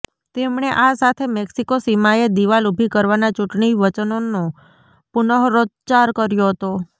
તેમણે આ સાથે મેક્સિકો સીમાએ દિવાલ ઊભી કરવાના ચૂંટણી વચનનો પુનઃરોચ્ચાર કર્યો હતો